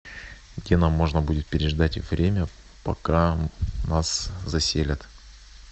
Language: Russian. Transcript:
где нам можно будет переждать время пока нас заселят